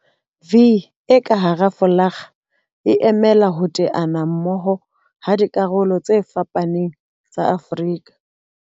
'V' e ka hara folakga e emela ho teana mmoho ha dikarolo tse fapaneng tsa Afrika.